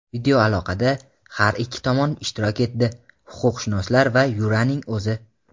Videoaloqada har ikki tomon ishtirok etdi – huquqshunoslar va Yuranning o‘zi.